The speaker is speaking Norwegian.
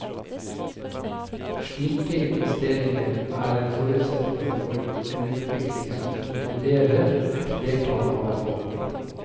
Slike investeringer er en forutsetning for en utvikling som inkluderer et flertall av befolkningen.